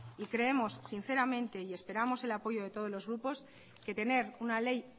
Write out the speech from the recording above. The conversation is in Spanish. y creemos sinceramente y esperamos el apoyo de todos los grupos que tener una ley